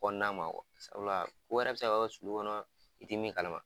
Kɔnɔna ma sabula u yɛrɛ be se ka bɔ sulu kɔnɔ i ti min kalama.